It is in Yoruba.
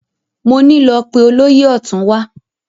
Mo ní lọ pe olóyè ọ̀tún wá!